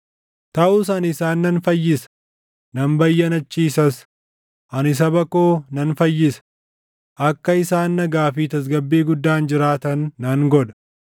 “ ‘Taʼus ani isaan nan fayyisa; nan bayyanachiisas; ani saba koo nan fayyisa; akka isaan nagaa fi tasgabbii guddaan jiraatan nan godha.